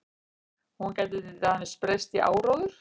Hún gæti til dæmis breyst í áróður.